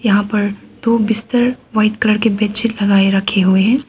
यहां पर दो बिस्तर व्हाइट कलर की बेडशीट लगाए रखे हुए हैं।